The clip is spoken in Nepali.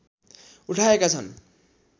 उठाएका छन्